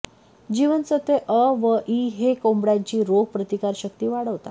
जीवनसत्वे अ व ई हे कोंबड्यांची रोग प्रतिकारशक्ती वाढवतात